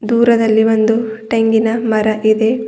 ದೂರದಲ್ಲಿ ಒಂದು ತೆಂಗಿನ ಮರ ಇದೆ.